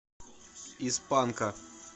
из панка